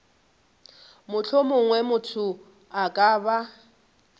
mohlomongwe motho a ka ba